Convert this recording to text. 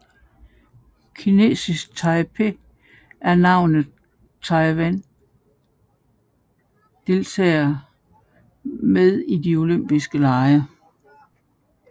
Kinesisk Taipei er navnet Taiwan deltager med i de olympiske lege